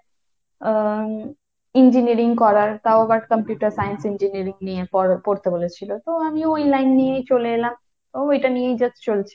আহ engineering করার তাও আবার computer science engineering নিয়ে পড়া~ পড়তে বলেছিল। তো আমিও ওই line নিয়েই চলে এলাম। তো এটা নিয়ে just চলছে।